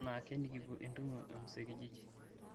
enaake nikipuo entumo emuzee kijiji